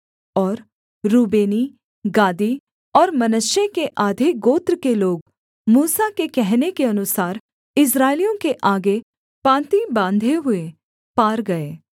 और रूबेनी गादी और मनश्शे के आधे गोत्र के लोग मूसा के कहने के अनुसार इस्राएलियों के आगे पाँति बाँधे हुए पार गए